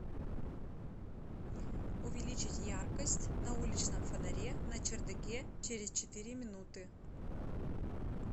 увеличить яркость на уличном фонаре на чердаке через четыре минуты